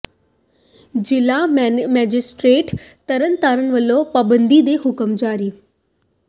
ਜ਼ਿਲ੍ਹਾ ਮੈਜਿਸਟਰੇਟ ਤਰਨ ਤਾਰਨ ਵੱਲੋਂ ਪਾਬੰਦੀ ਦੇ ਹੁਕਮ ਜਾਰੀ